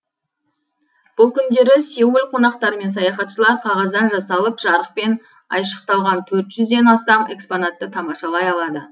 бұл күндері сеул қонақтары мен саяхатшылар қағаздан жасалып жарықпен айшықталған төрт жүзден астам экспонатты тамашалай алады